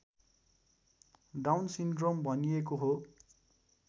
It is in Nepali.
डाउन सिन्ड्रोम भनिएको हो